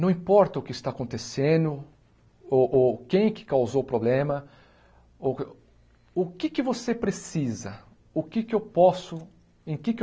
Não importa o que está acontecendo, ou ou quem que causou o problema, ou o que o que é que você precisa, o que é que eu posso em que eu